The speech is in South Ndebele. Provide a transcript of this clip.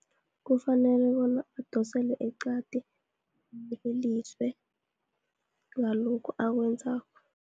Kufanele bona adoselwe eqadi, ayeleliswe ngalokhu akwenzako.